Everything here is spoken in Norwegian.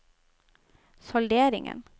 salderingen